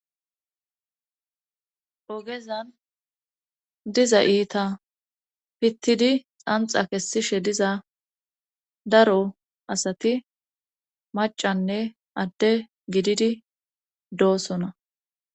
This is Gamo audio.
Ogezan diza iita pittidi xanxa kessishe diza daro asati macanne adde gididi doosona